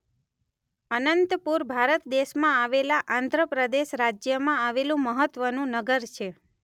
અનંતપુર ભારત દેશમાં આવેલા આંધ્ર પ્રદેશ રાજ્યમાં આવેલું મહત્વનું નગર છે.